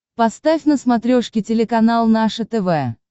поставь на смотрешке телеканал наше тв